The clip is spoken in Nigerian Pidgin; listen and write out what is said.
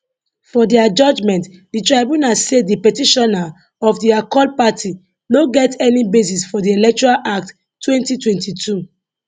for dia judgement di tribunal say di petitioner of di accord party no get any basis for di electoral act 2022